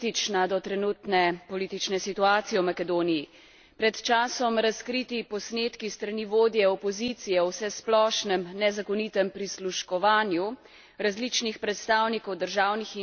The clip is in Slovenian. Pred časom razkriti posnetki s strani vodje opozicije o vsesplošnem nezakonitem prisluškovanju različnih predstavnikov državnih institucij so, milo rečeno, zelo zaskrbljujoči.